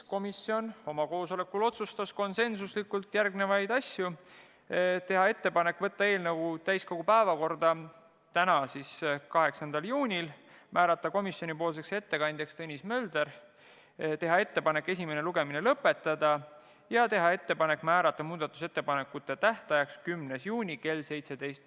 Komisjon otsustas oma koosolekul konsensusega järgmised asjad: teha ettepanek võtta eelnõu täiskogu päevakorda tänaseks, 8. juuniks, määrata komisjoni ettekandjaks Tõnis Mölder, teha ettepanek esimene lugemine lõpetada ja määrata muudatusettepanekute tähtajaks 10. juuni kell 17.